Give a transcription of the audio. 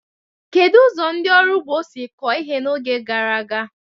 Kedu ụzọ ndị ọrụ ugbo si kọọ ihe n'oge gara aga?